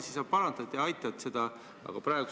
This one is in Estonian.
Ehk sa siis parandad ja aitad mind?